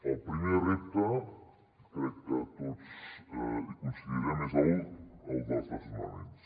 el primer repte crec que tots hi devem coincidir és el dels desnonaments